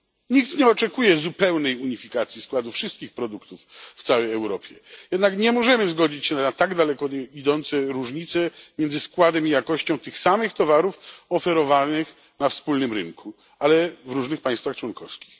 Nikt nie oczekuje zupełnej unifikacji składu wszystkich produktów w całej Europie, jednak nie możemy zgodzić się na tak daleko idące różnice między składem i jakością tych samych towarów oferowanych na wspólnym rynku, ale w różnych państwach członkowskich.